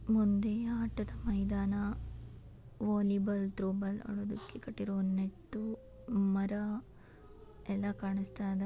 ಮುಂದೆ ಆಟದ ಮೈದಾನ ವಾಲಿಬಾಲ್ ಥ್ರೋ ಬಾಲ್ ಆಡೋದಕ್ಕೆ ಕಟ್ಟಿರುವ ನೆಟ್ಟು ಅಮ್ ಮರ ಎಲ್ಲ ಕಾಣಸ್ತಾ ಇದೆ.